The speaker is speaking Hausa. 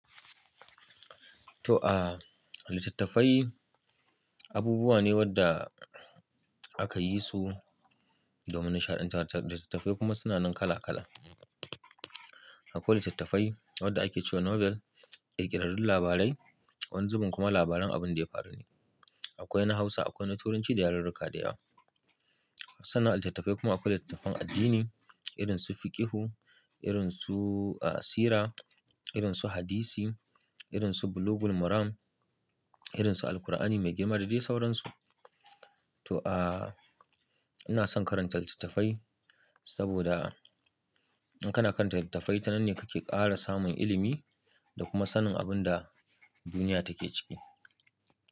To, a litattafai abubuwa ne wadda aka yi su domin nishaɗantarwa. Litattafai kuma suna nan kala kala. Akwai litattafai wadda ake ce wa Nobel, ƙirƙirarrun labarai, wani zubin kuma labaran abin da ya faru ne. Akwai na Hausa, akwai na Turanci da yarurruka dayawa. Sannan a litattafai kuma akwai littattafan addini irin su Fiqihu, irin su, a, Sira, irin su Hadisi, irin su Bulugul Maram, irin su Alqur'ani mai girma da de sauransu. To, a, ina son karanta litattafai saboda in kana karanta litattafai, tananne kake ƙara samun ilimi da kuma sanin abin da duniya take ciki.